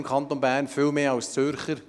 das sind in Bern viel mehr als in Zürich.